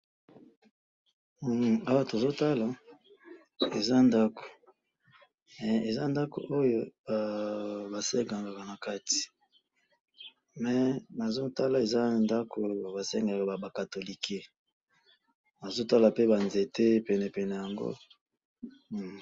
awa tozo tala eza ndaku eza ndaku oyo ba sengelaka nakati mais na zotala eza ndaku ba sengeleka ba catholique nazo tala pe ba nzete penepene nango